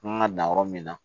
Kan ka dan yɔrɔ min na